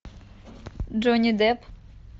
джонни депп